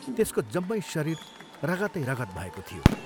त्यसको जम्मै शरीर रगतै रगत भएको थियो।